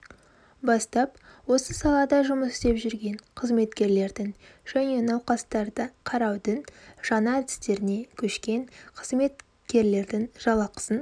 бастап осы салада жұмыс істеп жүрген қызметкерлердің және науқастарды қараудың жаңа әдістеріне көшкен қызметкерлердің жалақысын